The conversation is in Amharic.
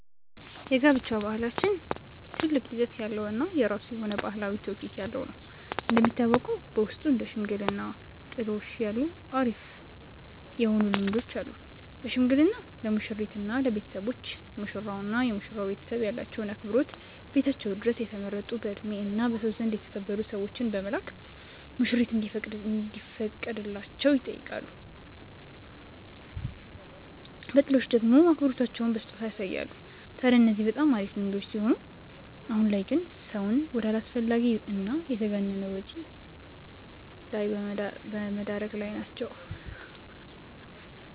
የጋብቻ ባህላችን ትልቅ ይዘት ያለው እና የራሱ የሆነ ባህላዊ ትውፊት ያለው ነው። እንደሚታወቀው በውስጡ እንደ ሽምግልና እና ጥሎሽ ያሉ አሪፍ የሆኑ ልምዶች አሉን። በሽምግልና ለሙሽሪት እና ለቤተሰቦች፤ ሙሽራው እና የመሽራው ቤተሰብ ያላቸውን አክብሮት ቤታቸው ድረስ የተመረጡ በእድሜ እና በሰው ዘንድ የተከበሩ ሰዎችን በመላክ ሙሽሪት እንዲፈቀድላቸው ይጠይቃሉ። በጥሎሽ ደሞ አክብሮታቸውን በስጦታ ያሳያሉ። ታድያ እነዚህ በጣም አሪፍ ልምዶች ሲሆኑ አሁን ላይ ግን ሰውን ወደ አላስፈላጊ እና የተጋነነ ወጪ ላይ በመደረግ ላይ ናቸው።